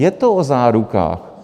Je to o zárukách.